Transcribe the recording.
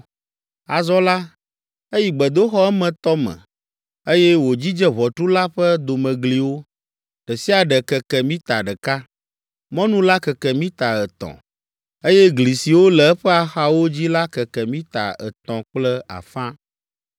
Azɔ la, eyi gbedoxɔ emetɔ me, eye wòdzidze ʋɔtru la ƒe domegliwo: ɖe sia ɖe keke mita ɖeka. Mɔnu la keke mita etɔ̃, eye gli siwo le eƒe axawo dzi la keke mita etɔ̃ kple afã.